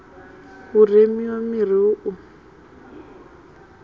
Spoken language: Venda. hu remiwe miri hu u